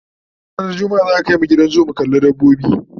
ranar jumma'a za'a Kai mu Gidan zoo mu kalla dabbobi